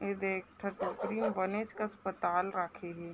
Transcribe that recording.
इ देख ठ टोकरी में बनेच कअस्पताल राखे हे ।